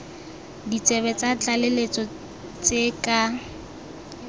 ditsebe tsa tlaleletso tse ka